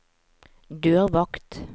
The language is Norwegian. dørvakt